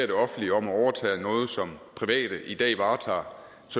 det offentlige om at overtage noget som private i dag varetager